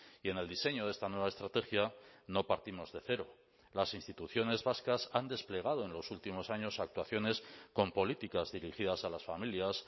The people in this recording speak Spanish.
y en el diseño de esta nueva estrategia no partimos de cero las instituciones vascas han desplegado en los últimos años actuaciones con políticas dirigidas a las familias